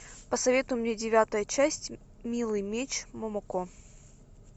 посоветуй мне девятая часть милый меч момоко